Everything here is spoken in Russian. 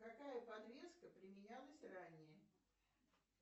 какая подвеска применялась ранее